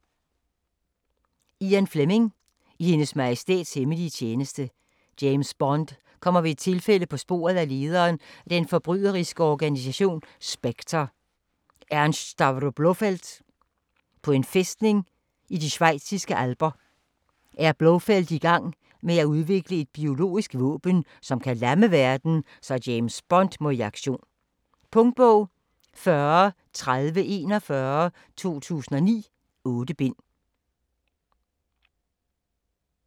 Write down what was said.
Fleming, Ian: I Hendes Majestæts hemmelige tjeneste James Bond kommer ved et tilfælde på sporet af lederen af den forbryderiske organisation SPECTRE, Ernst Stavro Blofeld. På en fæstning i de schweiziske alper er Blofeld igang med at udvikle et biologisk våben, som kan lamme verden, så James Bond må i aktion. Punktbog 403041 2009. 8 bind.